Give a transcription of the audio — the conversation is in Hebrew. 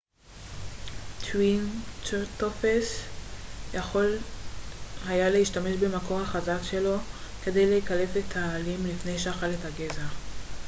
טריצרטופס יכול היה להשתמש במקור החזק שלו כדי לקלף את העלים לפני שאכל את הגזע